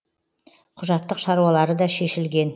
құжаттық шаруалары да шешілген